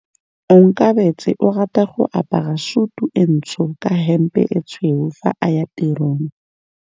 Onkabetse o rata go apara sutu e ntsho ka hempe e tshweu fa a ya tirong.